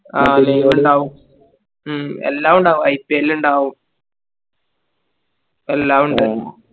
ആ live ഇണ്ടാകും മ്മ് എല്ലാം ഉണ്ടാകും IPL ഇണ്ടാവും എല്ലാം ഉണ്ടാവും